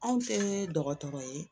Anw tɛ dɔgɔtɔrɔ ye